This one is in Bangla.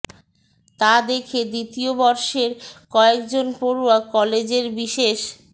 তা দেখে দ্বিতীয় বর্ষের কয়েক জন পড়ুয়া কলেজের বিশেষ